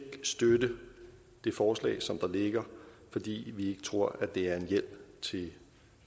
støtte det forslag som ligger fordi vi ikke tror at det er en hjælp til